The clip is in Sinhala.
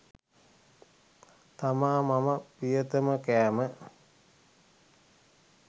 තමා මම ප්‍රියතම කෑම.